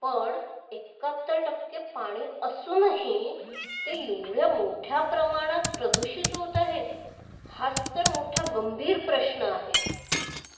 पण एकहात्तर टक्के पाणी असूनही ते एवढ्या मोठ्या प्रमाणात प्रदूषित होत आहे. हाच तर मोठा गंभीर प्रश्न आहे.